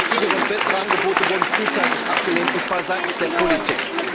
Günstigere und bessere Angebote wurden frühzeitig abgelehnt und zwar seitens der Politik.